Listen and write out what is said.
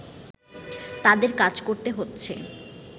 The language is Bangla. তাদের কাজ করতে হচ্ছে